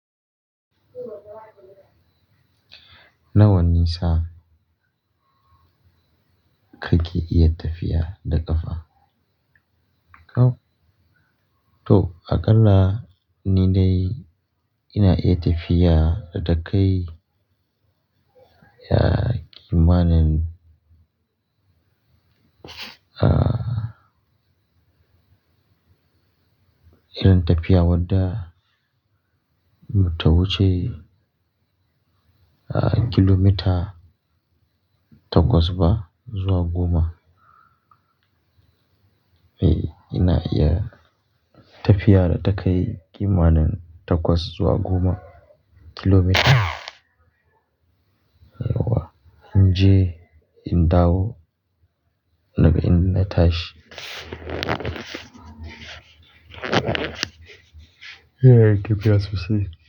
Nawa nisa kake iya tafiya da ƙafa? To, aƙalla ni dai ina iya tafiya da takai ya ƙimanin, ah, irin tafiya wadda bata wuce ah, kilomita takwas ba zuwa goma. Eh, ina iya tafiya da takai ƙimanin takwas zuwa goma kilomita. Yauwa in je, in dawo daga inda na tashi. Inna yin tafiya sosai.